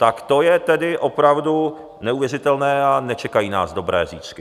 Tak to je tedy opravdu neuvěřitelné a nečekají nás dobré zítřky.